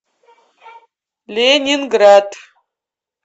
ленинград